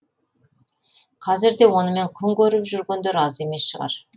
қазір де онымен күн көріп жүргендер аз емес шығар